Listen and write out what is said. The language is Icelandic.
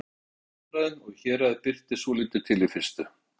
Ég hafði lent í vandræðum og í héraði birti svolítið til í fyrstu.